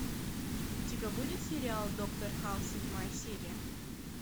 у тебя будет сериал доктор хаус седьмая серия